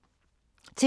TV 2